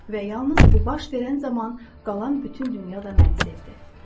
Və yalnız bu baş verən zaman qalan bütün dünya da məni sevdi.